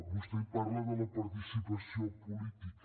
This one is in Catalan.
vostè parla de la participació política